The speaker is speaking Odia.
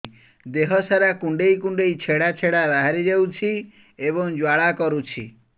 ଦେହ ସାରା କୁଣ୍ଡେଇ କୁଣ୍ଡେଇ ଛେଡ଼ା ଛେଡ଼ା ବାହାରି ଯାଉଛି ଏବଂ ଜ୍ୱାଳା କରୁଛି